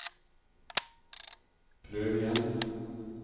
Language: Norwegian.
prøv igjen